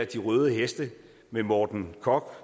de røde heste af morten korch